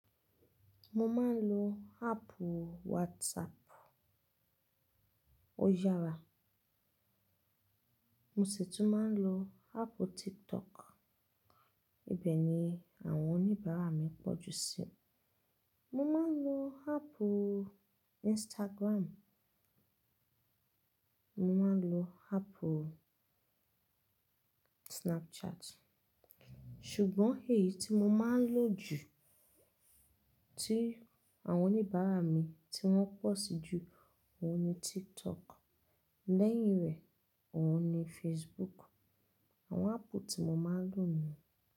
Mo máa ń lo háàpù WhatsApp, ó yára. Mo sì tún máa ń lo áàpù TikTok, ibẹ̀ ni àwọn oníbàárà mi pọ̀ jù sí. Mo máa ń lo háàpù Instagram, mo máa ń lo háàpù Snapchat. Ṣùgbọ́n èyí tí mo máa ń lo jù, tí àwọn oníbàárà mi tí wọ́n pọ̀ sí jù, òun ni TikTok, lẹ́yìn rẹ̀, òun ni Facebook. Àwọn háàpù tí mo máa ń lò nìyẹn.